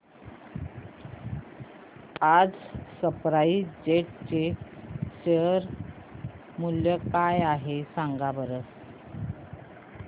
आज SpiceJet चे share मूल्य काय आहे सांगा बरं